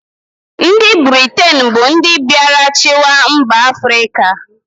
Ndị Britain bụ ndị mbịarachịwa mba Afrịka.